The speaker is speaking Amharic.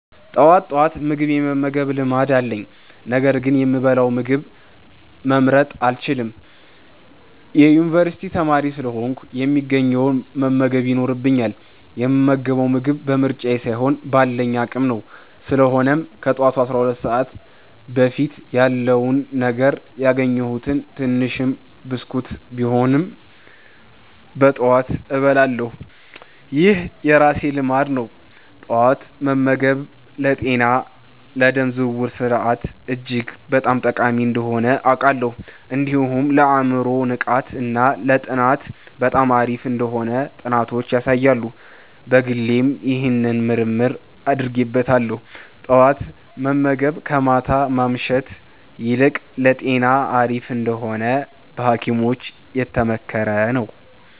ጠዋት ጠዋት ምግብ የመመገብ ልማድ አለኝ፤ ነገር ግን የምበላውን ምግብ መምረጥ አልችልም። የዩኒቨርሲቲ ተማሪ ስለሆንኩ፣ የሚገኘውን መመገብ ይኖርብኛል፣ የምመገበው ምግብ በምርጫዬ ሳይሆን ባለኝ አቅም ነው። ስለሆነም ከጠዋቱ 12 ሰዓት በፊት ያለውን ነገር፣ ያገኘሁትን ትንሽም ብስኩት ቢሆንም በጠዋት እበላለሁ። ይህ የራሴ ልማድ ነው። ጠዋት መመገብ ለጤና፣ ለደም ዝውውር ስርዓት እጅግ በጣም ጠቃሚ እንደሆነ አውቃለሁ። እንዲሁም ለአእምሮ ንቃት እና ለጥናት በጣም አሪፍ እንደሆነ ጥናቶች ያሳያሉ። በግሌም ይህንን ምርምር አድርጌበታለሁ። ጠዋት መመገብ ከማታ ማምሸት ይልቅ ለጤና አሪፍ እንደሆነ በሀኪሞችም የተመከረ ነው።